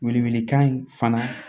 Wele wele kan in fana